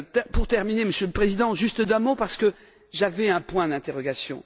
Pour terminer, Monsieur le Président, encore un mot parce que j'avais un point d'interrogation.